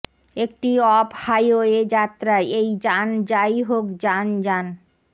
একটি off highway যাত্রায় এই যান যাইহোক যান যান